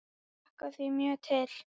Ég hlakka því mjög til.